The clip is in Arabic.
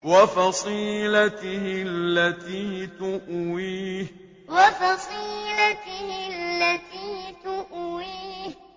وَفَصِيلَتِهِ الَّتِي تُؤْوِيهِ وَفَصِيلَتِهِ الَّتِي تُؤْوِيهِ